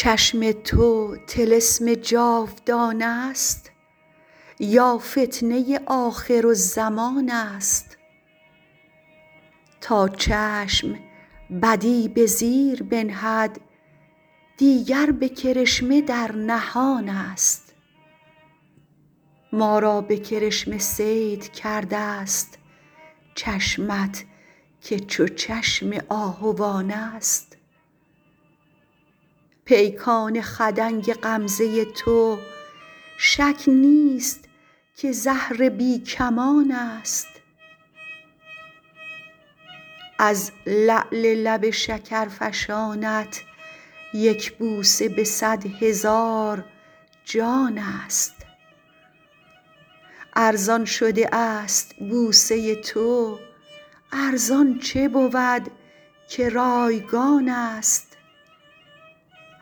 چشم تو طلسم جاودانست یا فتنه آخرالزمانست تا چشم بدی به زیر بنهد دیگر به کرشمه در نهانست ما را به کرشمه صید کردست چشمت که چو چشم آهوانست با لشکر غمزه تو در شهر الامانست پیکان خدنگ غمزه تو شک نیست که زهر بی کمانست از لعل لب شکرفشانت یک بوسه به صد هزار جانست ارزان شده است بوسه تو ارزان چه بود که رایگانست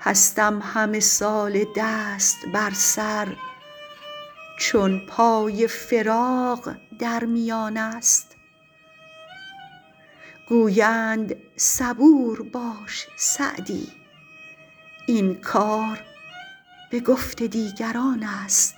هستم همه ساله دست بر سر چون پای فراق در میانست گویند صبور باش سعدی این کار به گفت دیگرانست